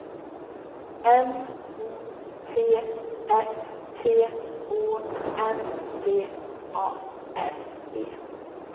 M O T S T Å N D A R E